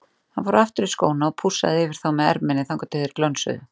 Hann fór aftur í skóna og pússaði yfir þá með erminni þangað til þeir glönsuðu.